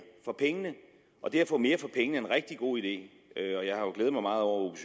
for pengene og det at få mere for pengene er en rigtig god idé og